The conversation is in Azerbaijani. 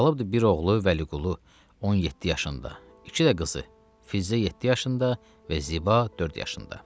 Qalıbdı bir oğlu Vəliqulu 17 yaşında, iki də qızı Füzə 7 yaşında və Ziba 4 yaşında.